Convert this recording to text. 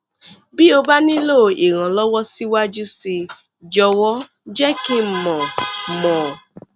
bí o bá nílò ìrànlọwọ síwájú sí i jọwọ jẹ kí n mọ n mọ